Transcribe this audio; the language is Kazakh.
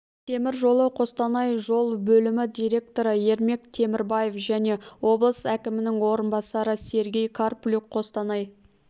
темір жолы қостанай жол бөлімі директоры ермек темірбаев және облыс әкімінің орынбасары сергей карплюк қостанай